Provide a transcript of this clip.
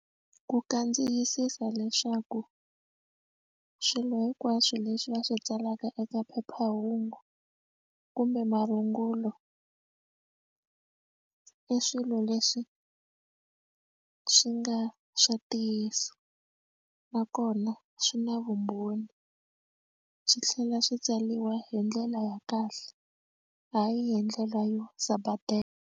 Ku kandziyisisa leswaku swilo hinkwaswo leswi va swi tsalaka eka phephahungu kumbe marungulo i swilo leswi swi nga swa ntiyiso nakona swi na vumbhoni swi tlhela swi tsaliwa hi ndlela ya kahle hayi hi ndlela yo sapatela.